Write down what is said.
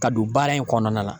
Ka don baara in kɔnɔna na.